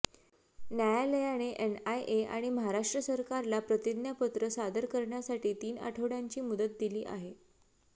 न्यायालयाने एनआयए आणि महाराष्ट्र सरकारला प्रतिज्ञापत्र सादर करण्यासाठी तीन आठवडयांची मुदत दिली आहे